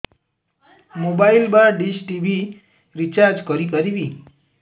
mobile ବା dish TV recharge କରି ପାରିବି